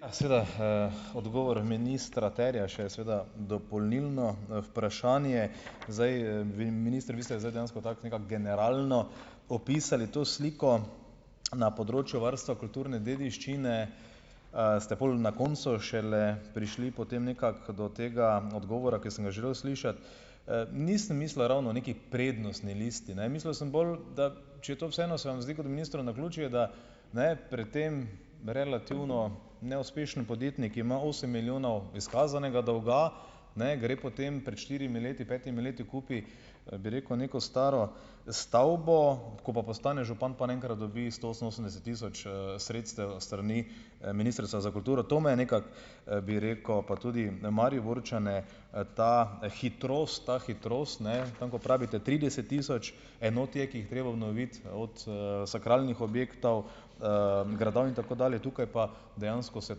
Ja. Seveda, odgovor ministra terja še seveda dopolnilno, vprašanje. Zdaj, vi, minister, vi ste zdaj dejansko tako nekako generalno popisali to sliko, na področju varstva kulturne dediščine, ste pol na koncu šele prišli potem nekako do tega odgovora, ki sem ga želel slišati. Nisem mislil ravno neki prednostni listi, ne, mislil sem bolj, da če to vseeno se vam zdi kot ministru naključje, da ne pri tem relativno neuspešen podjetnik, ki ima osem milijonov izkazanega dolga, ne gre potem pred štirimi leti, petimi leti kupi, bi rekel, neko staro stavbo, ko pa postane župan, pa na enkrat dobi sto oseminosemdeset tisoč, sredstev s strani, Ministrstva za kulturo. To me je nekako, bi rekel, pa tudi Mariborčane, ta hitrost, ta hitrost, ne, tam, ko pravite trideset tisoč enot je, ki jih je treba obnoviti, od, sakralnih objektov, gradov, in tako dalje, tukaj pa dejansko se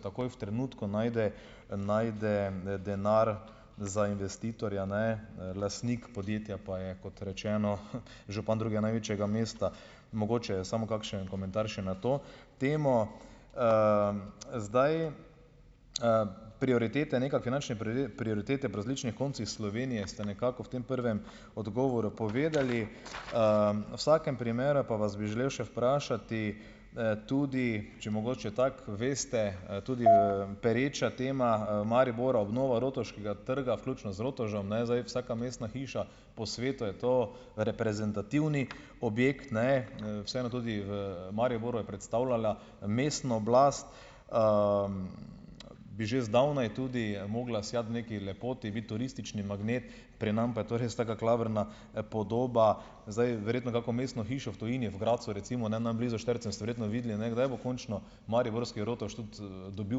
takoj v trenutku najde najde, denar za investitorja, ne, lastnik podjetja pa je kot rečeno, župan drugega največjega mesta, mogoče je samo kakšen komentar še na to temo. zdaj, prioritete, nekako finančne prioritete po različnih koncih Slovenije ste nekako v tem prvem odgovoru povedali. V vsakem primeru pa vas bi želel še vprašati, tudi, če mogoče tako veste, tudi v pereča tema v Mariboru, obnova Rotovškega trga vključno z rotovžem, ne. Zdaj vsaka mestna hiša po svetu je to reprezentativni objekt, ne, vseeno tudi v Mariboru je predstavljala mestno oblast, bi že zdavnaj tudi mogla sijati v neki lepoti, biti turistični magnet, pri nas pa je to res taka klavrna, podoba. Zdaj, verjetno, kako mestno hišo v tujini, v Gradcu recimo, ne, nam blizu, Štajercem ste verjetno videli, ne, kdaj bo končno Mariborski Rotovž tudi, dobil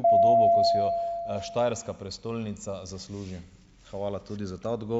podobo, ko si jo, štajerska prestolnica zasluži. Hvala tudi za ta ...